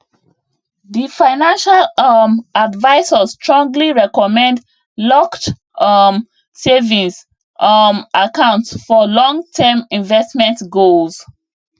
di financial um advisor strongly recommend locked um savings um accounts for longterm investment goals